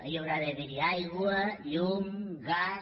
hi haurà d’haver aigua llum gas